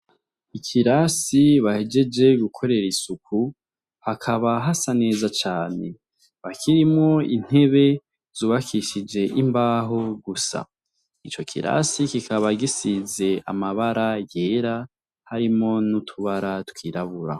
Ikirasi bahejeje gukorera isuku hakaba hasa neza cane kikaba kirimwo intebe zubakishije imbaho gusa, ico kirasi kikaba gisize amabara ayera arimwo n'utubara twirabura.